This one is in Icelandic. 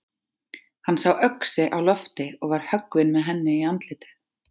Hann sá öxi á lofti og var höggvinn með henni í andlitið.